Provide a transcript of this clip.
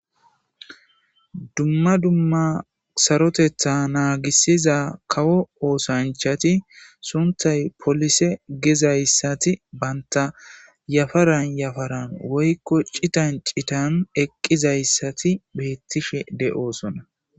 Dumma dumma sarotetha naagissiza kawo oosanchati sunthay polise gezayssati banta yafaran yafaran woykko citan citan eqqizayssati beettishe de'osona.